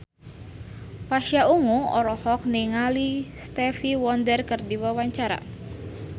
Pasha Ungu olohok ningali Stevie Wonder keur diwawancara